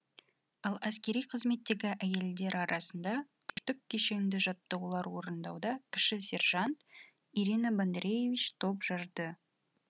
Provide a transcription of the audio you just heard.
ал әскери қызметтегі әйелдер арасында күштік кешенді жаттығулар орындауда кіші сержант ирина бондареевич топ жарды